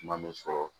Kuma bɛ fɔ